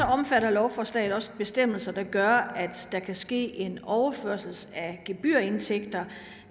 omfatter lovforslaget bestemmelser der gør at der kan ske en overførsel af gebyrindtægter